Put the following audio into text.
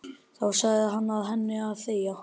Þá sagði hann henni að þegja.